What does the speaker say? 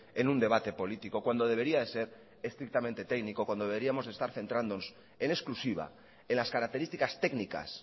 en un debate político cuando debería de ser estrictamente técnico cuando deberíamos de estar centrándonos en exclusiva en las características técnicas